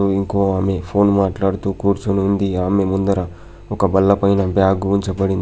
ఇంకో ఆమె ఫోన్ మాట్లాడుతూ కూర్చుని ఉంది ఆమె ముందర ఒక బల్లపైన బ్యాగు ఉంచబడింది.